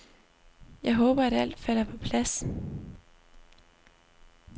Jeg håber, at alt falder på plads.